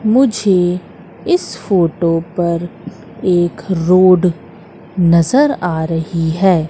मुझे इस फोटो पर एक रोड नजर आ रही है।